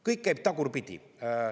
Kõik käib tagurpidi.